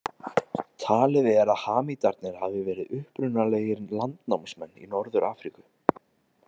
Talið er að Hamítarnir hafi verið upprunalegir landnámsmenn í Norður-Afríku.